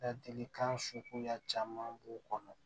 Ladilikan suguya caman b'u kɔnɔ